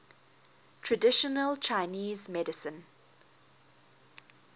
traditional chinese medicine